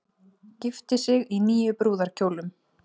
Gifti sig í níu brúðarkjólum